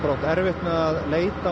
átt erfitt með að leita